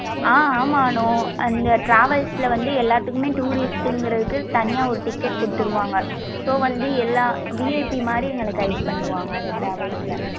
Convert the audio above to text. ஆஹ் ஆமா அனு இந்த travels ல வந்து எல்லாத்துக்குமே tourist ங்குரத்க்கு தனியா ஒரு ticket குடுத்துருவாங்க so வந்து எல்லாம் VIP மாரி எங்கள guide பண்ணுவாங்க அந்த travels ல.